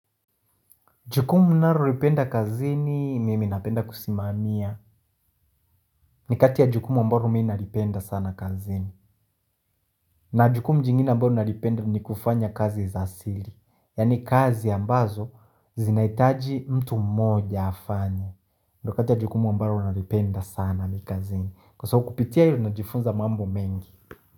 Jukumu ninalolipenda kazini, mimi napenda kusimamia. Ni kati ya jukumu ambalo mimi nalipenda sana kazini. Na jukumu jingine ambalo nalipenda ni kufanya kazi za siri. Yani kazi ambazo, zinahitaji mtu mmoja afanye. Ndo kati ya jukumu ambalo nalipenda sana kazini. Kwa sababu kupitia hilo najifunza mambo mengi.